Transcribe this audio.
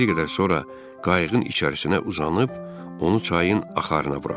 Bir qədər sonra qayığın içərisinə uzanıb, onu çayın axarına buraxdım.